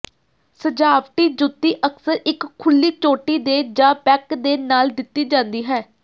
ਸਜਾਵਟੀ ਜੁੱਤੀ ਅਕਸਰ ਇੱਕ ਖੁੱਲੀ ਚੋਟੀ ਦੇ ਜਾਂ ਬੈਕ ਦੇ ਨਾਲ ਦਿੱਤੀ ਜਾਂਦੀ ਹੈ